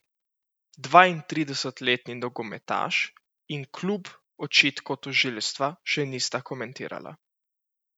Dvaintridesetletni nogometaš in klub očitkov tožilstva še nista komentirala.